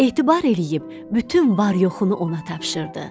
Etibar eləyib bütün var-yoxunu ona tapşırdı.